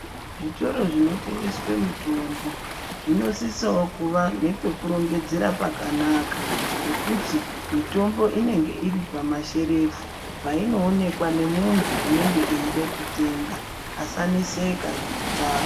Zvitoro zvinotengeswa mitombo zvinosisawo kuva nepekurongedzera pakanaka. Zvekuti mitombo inenge iri pamasherefu painoonekwa ngemuntu unenge eida kutenga asaneseka ngekutsvaka.